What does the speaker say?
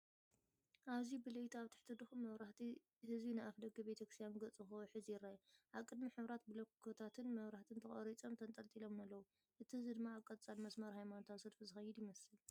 ኣብዚ ብለይቲ ኣብ ትሕቲ ድኹም መብራህቲ፡ ህዝቢ ናብ ኣፍደገ ሓደ ቤተክርስትያን ገጹ ክውሕዝ ይርአ። ኣብ ቅድሚት ሕብራዊ ብሎኮታትን መብራህትን ተቐሪጾምን ተንጠልጢሎምን ኣለዉ፣ እቲ ህዝቢ ድማ ኣብ ቀጻሊ መስመር ሃይማኖታዊ ሰልፊ ዝኸይድ ይመስል።